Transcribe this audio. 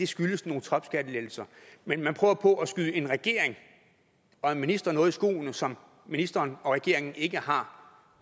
skyldes nogle topskattelettelser man prøver på at skyde en regering og en minister noget i skoene som ministeren og regeringen ikke har